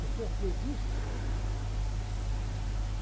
O senhor fez isso?